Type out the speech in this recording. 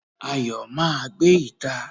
Ayo máa gbé ìta